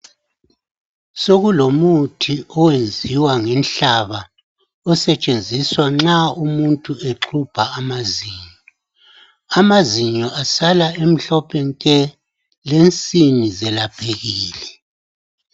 Sokulomuthi owenziwa ngenhlaba osetshenziswa nxa umuntu exubha amazinyo , amazinyo asala emhlophe nke lensini zelaphekile.